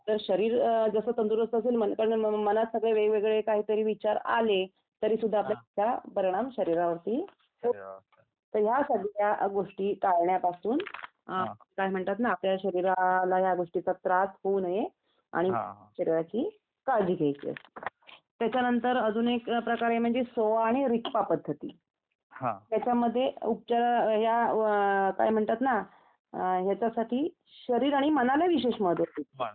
शरीर जसं तंदुरुस्त असेल. आणि मनात सगळें वेग-वेगळे काहितरी विचार आलेत तरीसुद्धा त्याचा परिणाम शरीरावरती होतो तर या सगळ्या गोष्टी टाळण्यापासून काय म्हणतात ना आपल्या शरीराला या गोष्टींचा त्रास होऊ नये आणि शरीराची काळजी घ्यायचे असते त्याच्यानंतर अजून एक प्रकारे म्हणजे सोवा आणि रीप्पा पद्धती त्याच्यामध्ये उपचारा काय म्हणतात ना याच्यासाठी शरीर आणि मनाने विशेष महत्व आहे